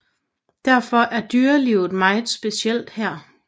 Derfor er dyrelivet meget specielt her